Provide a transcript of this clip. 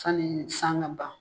Sani san ka ban